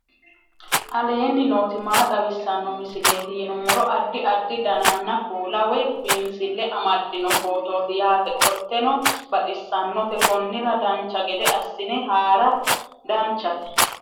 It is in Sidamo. aleenni nooti maa xawisanno misileeti yinummoro addi addi dananna kuula woy biinsille amaddino footooti yaate qoltenno baxissannote konnira dancha gede assine haara danchate